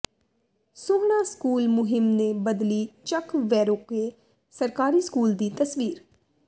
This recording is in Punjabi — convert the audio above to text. ਸੋਹਣਾ ਸਕੂਲ ਮੁਹਿੰਮ ਨੇ ਬਦਲੀ ਚੱਕ ਵੈਰੋਕੇ ਸਰਕਾਰੀ ਸਕੂਲ ਦੀ ਤਸਵੀਰ